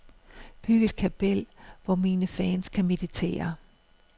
Byg et kapel, hvor mine fans kan meditere.